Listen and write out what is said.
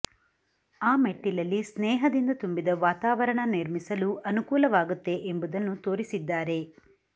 ಆ ಮೆಟ್ಟಿಲಲ್ಲಿ ಸ್ನೇಹದಿಂದ ತುಂಬಿದ ವಾತಾವರಣ ನಿರ್ಮಿಸಲು ಅನಕೂಲವಾಗುತ್ತೆ ಎಂಬುದನ್ನು ತೋರಿಸಿದ್ದಾರೆ